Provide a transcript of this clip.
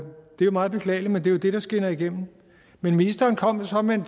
det er meget beklageligt men det er jo det der skinner igennem men ministeren kom jo så med en